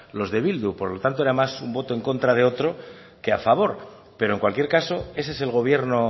los de bildu por lo tanto era más un voto en contra de otro que a favor pero en cualquier caso ese es el gobierno